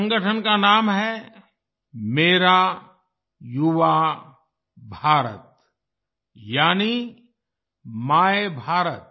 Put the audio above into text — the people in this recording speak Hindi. इस संगठन का नाम है मेरा युवा भारत यानी मायभारत